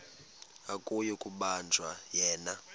akuyi kubanjwa yena